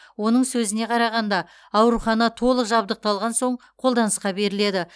оның сөзіне қарағанда аурухана толық жабдықталған соң қолданысқа беріледі